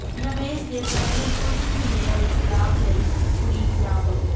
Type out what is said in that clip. ਨਿਵੇਸ਼ ਦੇ ਪਹਿਲੇ ਕੁਝ ਮਹੀਨੇ ਵਿਚ ਲਾਭ ਲਈ ਉਡੀਕ ਨਾ ਕਰੋ